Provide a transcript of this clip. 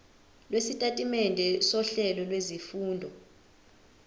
lwesitatimende sohlelo lwezifundo